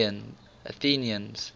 athenians